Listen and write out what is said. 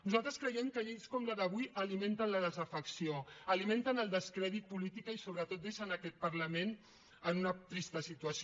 nosaltres creiem que lleis com la d’avui alimenten la desafecció alimenten el descrèdit polític i sobretot deixen aquest parlament en una trista situació